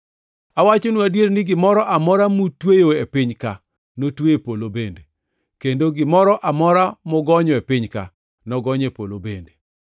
“Awachonu adier ni gimoro amora mutweyo e piny-ka notwe e polo bende, kendo gimoro amora mugonyo e piny-ka nogony e polo bende.